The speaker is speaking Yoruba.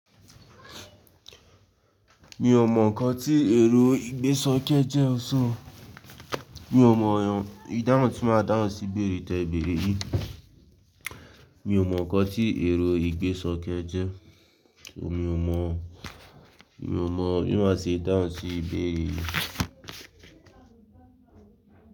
Mi ò mọ̀ nkàn tí èrò ìgbésókè jẹ́ ọ̀ṣọ́. Mi ò mọ̀ ìdáhùn tí màá dáhùn sí ìbéèrè tẹ̀béèrè yìí. Mi ò mọ̀ ọ̀kàn tí èrò ìgbésókè jẹ́. Mi ò mọ̀, mi ò mọ̀ bí màá ṣe dáhùn sí ìbéèrè yìí.